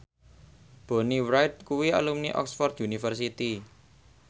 Bonnie Wright kuwi alumni Oxford university